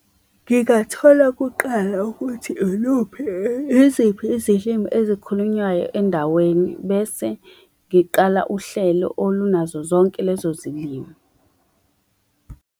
Ngingathola kuqala ukuthi iluphi iziphi izilimi ezikhulunywayo endaweni bese ngiqala uhlelo olunazo zonke lezo zilimi.